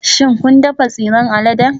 Shin kun dafa tsiran alade?